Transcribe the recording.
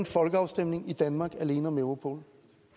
en folkeafstemning i danmark alene om europol